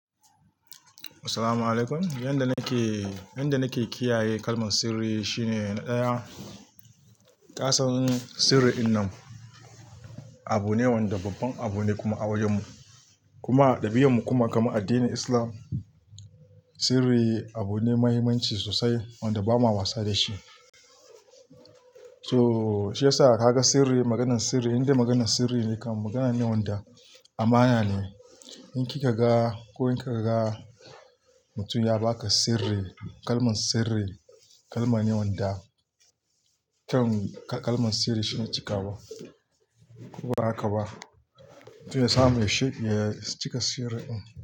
Assalamu alaykum. Yanda nake, yanda nake kiyaye kalman sirri shine na ɗaya, ƙasan sirri innan abu ne wanda babban abu ne kuma a wayenmu. Kuma a ɗabi'armu kuma kamar a addinin Islam, sirri abu ne muhimmanci sosai wanda ba ma wasa da shi. Toh shi yasa ka ga sirri, maganan sirri, inda maganan sirri ne kam magana ne wanda amana ne. In kika ga ko in kaka ga mutum ya baka sirri, kalman sirri, kalma ne wanda, kyau kalman sirri shine cika wa. Ko ba haka ba? Toh ya sa mai shi ya cika sirrin din.